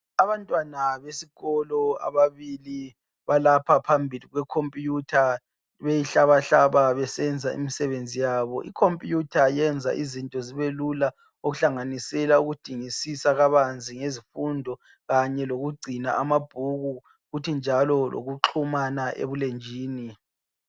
Abantwana besikolo ababili balapha phambili kwekhompuyutha beyihlabahlaba besenza imisebenzi yabo, ikhumpuyutha yenza izinto zibe lula okuhlanganisela ukudingisisa kabanzi ngezifundo kanye lokugcina amabhuku kuthi njalo lokuxhumana ebulenjini.